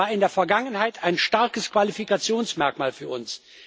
Das war in der Vergangenheit ein starkes Qualifikationsmerkmal für